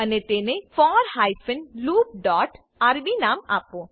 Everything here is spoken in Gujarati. અને તેને for hyphen loop dot RB નામ આપો